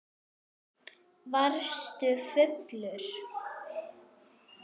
Varstu fullur?